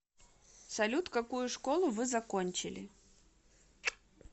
салют какую школу вы закончили